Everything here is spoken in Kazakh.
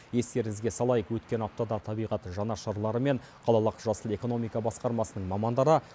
естеріңізге салайық өткен аптада табиғат жанашырлары мен қалалық жасыл экономика басқармасының мамандары